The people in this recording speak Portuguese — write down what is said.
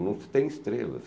Não se tem estrelas.